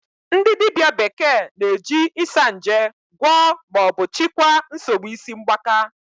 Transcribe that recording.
Ndị dibịa bekee na-eji Isanje gwọọ ma ọ bụ chịkwaa nsogbu isi mgbaka